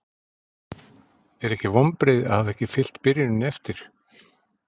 Eru ekki vonbrigði að hafa ekki fylgt byrjuninni eftir?